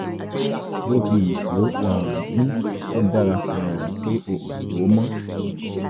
bó ti wù kó um rí ó dára um pé o ò lò ó mọ́